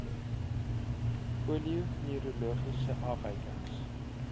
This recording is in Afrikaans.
polio neurologiese afwykings